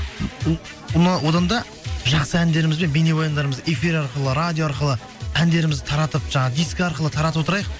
одан да жақсы әндеріміз бен бейнебаяндарымызды эфир арқылы радио арқылы әндерімізді таратып жаңағы дискі арқылы таратып отырайық